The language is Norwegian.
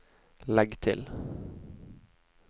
legg til